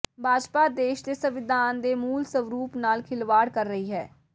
ਭਾਜਪਾ ਦੇਸ਼ ਦੇ ਸੰਵਿਧਾਨ ਦੇ ਮੂਲ ਸਰੂਪ ਨਾਲ ਖਿਲਵਾੜ ਕਰ ਰਹੀ ਹੈ